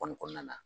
Kɔni kɔnɔna na